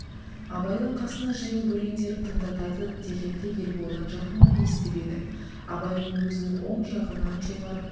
абайдың қасына жиылып өлендерін тыңдатады дегенді ерболдан жақында есітіп еді абай оны өзінің оң жағынан жоғары